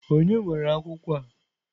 Ònye nwere akwụkwọ a?